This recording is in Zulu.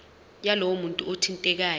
yalowo muntu othintekayo